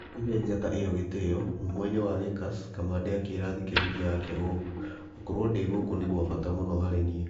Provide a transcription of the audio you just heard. Akĩhe njata ĩyo gĩtĩĩo, mũmũini wa Lakers Kamande akĩĩra athikĩrĩria ake ũũ: "Gũkorũo ndĩ gũkũ nĩ kwa bata mũno harĩ niĩ.